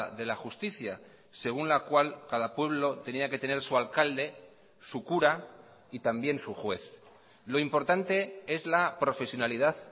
de la justicia según la cual cada pueblo tenía que tener su alcalde su cura y también su juez lo importante es la profesionalidad